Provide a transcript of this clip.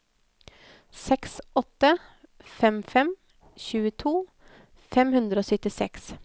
seks åtte fem fem tjueto fem hundre og syttiseks